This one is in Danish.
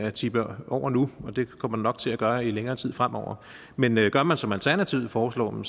at tippe over nu og det kommer den nok til at gøre i længere tid fremover men men gør man som alternativet foreslår